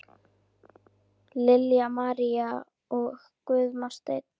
Lilja María og Guðmar Sveinn.